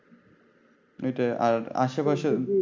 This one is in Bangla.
এটাই আর আশে পাশে